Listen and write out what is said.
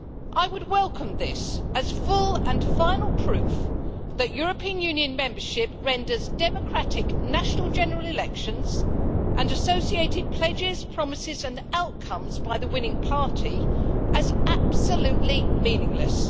I would welcome this as full and final proof that European Union membership renders democratic national general elections and associated pledges, promises and outcomes by the winning party, absolutely meaningless.